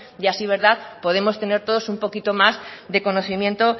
y así podemos tener todos un poquito más de conocimiento